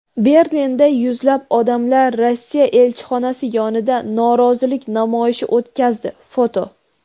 Berlinda yuzlab odamlar Rossiya elchixonasi yonida norozilik namoyishi o‘tkazdi (foto).